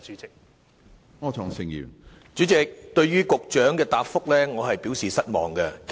主席，對於局長的主體答覆，我表示失望。